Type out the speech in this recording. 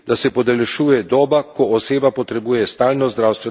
Javno zdravje vpliva na več drugih sfer družbenega življenja.